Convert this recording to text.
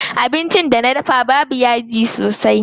Abincin da na dafa babu yaji sosai.